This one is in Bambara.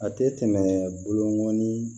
A tɛ tɛmɛ bolo kan ni